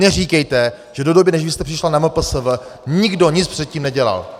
Neříkejte, že do doby, než vy jste přišla na MPSV nikdo nic předtím nedělal!